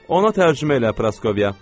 Ona tərcümə elə Praskovya.